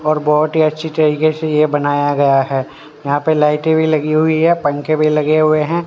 और बहुत ही अच्छी तरीके से यह बनाया गया है यहां पे लाइटें भी लगी हुई है पंखे भी लगे हुए हैं।